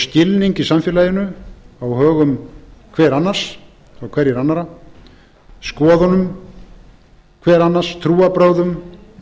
skilning í samfélaginu á högum hvers annars og hverra annarra skoðunum hvers annars trúarbrögðum